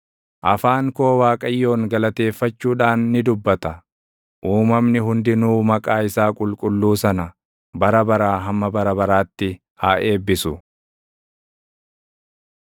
Afaan koo Waaqayyoon galateeffachuudhaan ni dubbata. Uumamni hundinuu maqaa isaa qulqulluu sana bara baraa hamma bara baraatti haa eebbisu.